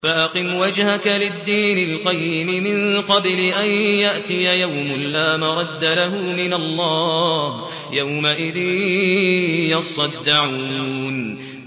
فَأَقِمْ وَجْهَكَ لِلدِّينِ الْقَيِّمِ مِن قَبْلِ أَن يَأْتِيَ يَوْمٌ لَّا مَرَدَّ لَهُ مِنَ اللَّهِ ۖ يَوْمَئِذٍ يَصَّدَّعُونَ